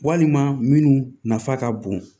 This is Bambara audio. Walima minnu nafa ka bon